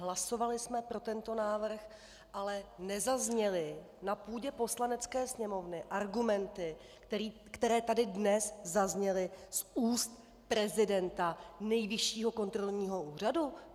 Hlasovali jsme pro tento návrh, ale nezazněly na půdě Poslanecké sněmovny argumenty, které tady dnes zazněly z úst prezidenta Nejvyššího kontrolního úřadu.